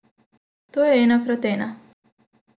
To je ena krat ena.